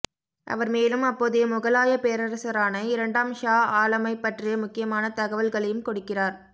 அவர் மேலும் அப்போதைய முகலாயப் பேரரசரான இரண்டாம் ஷா ஆலமைப் பற்றிய முக்கியமான தகவல்களையும் கொடுக்கிறார்